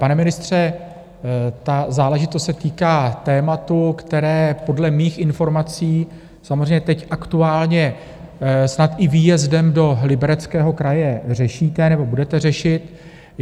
Pane ministře, ta záležitost se týká tématu, které podle mých informací samozřejmě teď aktuálně snad i výjezdem do Libereckého kraje řešíte nebo budete řešit.